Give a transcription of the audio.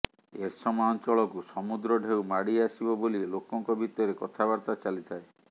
ଏରସମା ଅଞ୍ଚଳକୁ ସମୁଦ୍ର ଢ଼େଉ ମାଡ଼ି ଆସିବ ବୋଲି ଲୋକଙ୍କ ଭିତରେ କଥାବର୍ତ୍ତା ଚାଲିଥାଏ